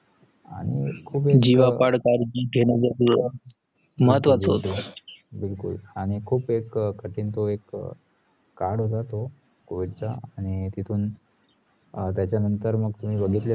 आणी बिलकुल आणि खुप एक कठीण तो एक काळ होता ते कोविडचा आणी तितुन अं त्याचा नंतर बघितला